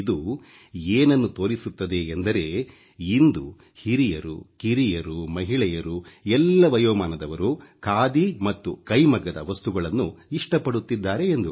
ಇದು ಏನನ್ನು ತೋರಿಸುತ್ತದೆ ಎಂದರೆ ಇಂದು ಹಿರಿಯರುಕಿರಿಯರು ಮಹಿಳೆಯರು ಎಲ್ಲ ವಯೋಮಾನದವರು ಖಾದಿ ಮತ್ತು ಕೈಮಗ್ಗದ ವಸ್ತುಗಳನ್ನು ಇಷ್ಟಪಡುತ್ತಿದ್ದಾರೆ ಎಂದು